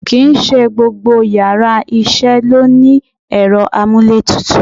Ki n se gbọ́gbọ́ íyarà iṣẹ lo ni erọ́ amú íle tútú